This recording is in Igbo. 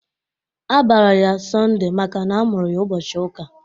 A bara ya "Sondée" makana a mụrụ ya ụbọchị uka